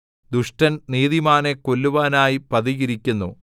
ദുഷ്ടൻ നീതിമാനെ കൊല്ലുവാനായി പതിയിരിക്കുന്നു